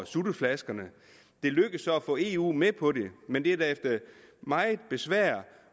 sutteflasker det lykkedes så at få eu med på det men det var efter meget besvær